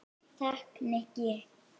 Takk, Nikki